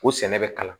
Ko sɛnɛ bɛ kalan